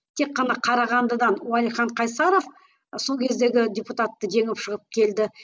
тек қана қарағандыдан уалихан қайсаров сол кездегі депутатты жеңіп шығып келді